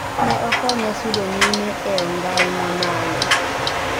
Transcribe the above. Ne okonya sudo nyime ee ong'ai mamalo